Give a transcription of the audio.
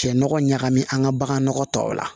Nɔgɔ ɲagami an ka bagan tɔw la